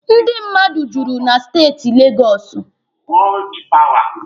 Ndị mmadụ juru na steeti Legọsụ.